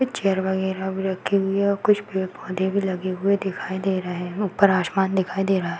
Chair वगैरह भी रखी हुई हैं और कुछ पेड़-पोधे भी लगे हुए दिखाई दे रहे हैं। ऊपर आसमान दिखाई दे रहा है।